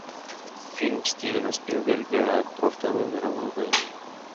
фильм стивена спилберга про вторую мировую войну